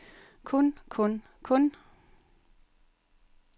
kun kun kun